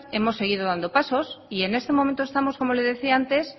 hemos seguido dando pasos y en este momento estamos como le decía antes